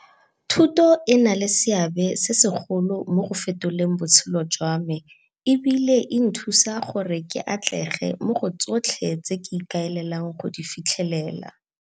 Thuto e na le seabe se segolo mo go fetoleng botshelo jwa me e bile e nthusa gore ke atlege mo go tsotlhe tse ke ikaelelang go di fitlhelela.